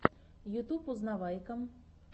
ютуб узнавайка